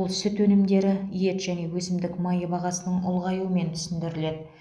бұл сүт өнімдері ет және өсімдік майы бағасының ұлғаюымен түсіндіріледі